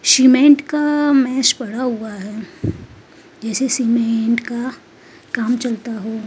cement का मैश पड़ा हुआ है जैसे सीमेंट का काम चलता हुआ --